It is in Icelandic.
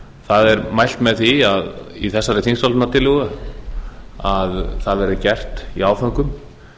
það er mælt með því í þessari þingsályktunartillögu að það verði gert í áföngum